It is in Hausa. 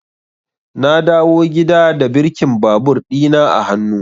Na dawo gida da birkin babur ɗina a hannu.